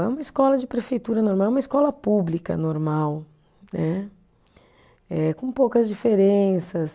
É uma escola de prefeitura normal, é uma escola pública normal né, eh com poucas diferenças.